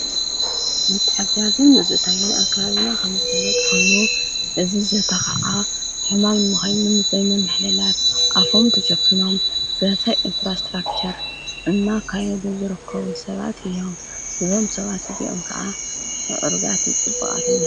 ንትሐዝም ነዝእታጌን ኣርካባብና ኸም ዘፍለጥ ኮይኑ እዝ ዘተኸዓ ሕማም ምኸሙን ዘብመ መኅለላት ኣፎም ተሸፊኖም ዘሰይ ኢንፍራስትራክከር እና ካየዱ ዝርኮዉ ሰባት እዮም ዞም ሰባት እዙዑም ከዓ ዕርጋትን ፅቡቃትን እዮም።